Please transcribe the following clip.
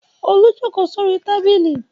Olú jókòó sórí tábìlì.